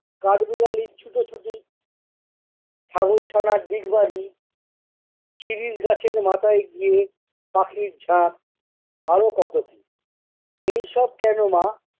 কাঠবিড়ালির ছুটো-ছুটি, ছাগল-ছানার ডিগবাজি শিরিষ গাছের মাথায় গিয়ে পাখির ঝাঁক, আরো কত কি। এইসব কেননা